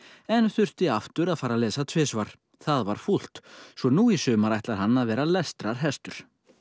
en þurfti aftur að fara að lesa tvisvar það var fúlt svo nú í sumar ætlar hann að vera lestrarhestur